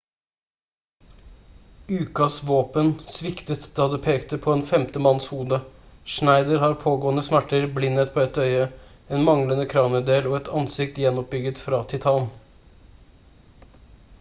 ukas våpen sviktet da det pekte på en femte manns hode schneider har pågående smerter blindhet på ett øye en manglende kraniedel og et ansikt gjenoppbygget fra titan